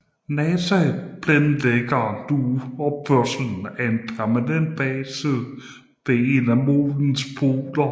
NASA planlægger nu opførelsen af en permanent base ved en af Månens poler